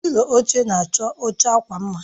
Pịlo oche na-achọ oche akwa mma